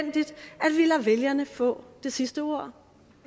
vælgerne få det sidste ord